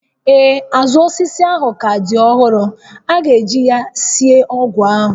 Ee, azụ osisi ahụ ka dị ọhụrụ, a ga-eji ya sie ọgwụ ahụ